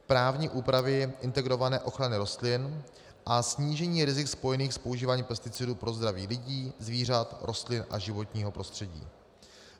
právní úpravy integrované ochrany rostlin a snížení rizik spojených s používáním pesticidů pro zdraví lidí, zvířat, rostlin a životního prostředí.